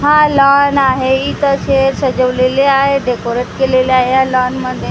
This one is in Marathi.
हा लॉन आहे इथं स्टेज सजवलेले आहे डेकोरेट केलेले आहे या लॉन मध्ये--